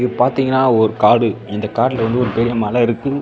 இது பாத்தீங்கனா ஒரு காடு இந்த காட்டுல வந்து ஒரு பெரிய மல இருக்கு.